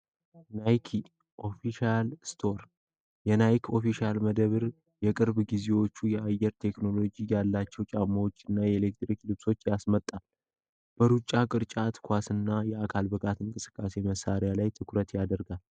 ናይክ ኦፊሼል ስቶር የናይክ ኦፊሻል መደብር የቅርብ ጊዜዎቹ የአየር ቴክኖሎጂ ያላቸው ጫማዎች እና የኤሌክትሪክ ልብሶች ያስመጣል በሩጫ ቅርጫት ኳስና የአካል ብቃት እንቅስቃሴ መሳሪያ ላይ ትኩረት ያደርጋል